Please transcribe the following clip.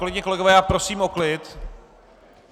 Kolegyně, kolegové, já prosím o klid!